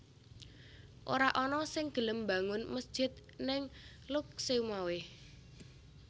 Ora ana sing gelem mbangun mesjid ning Lhokseumawe